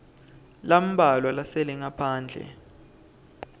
lambalwa lasele ngaphandle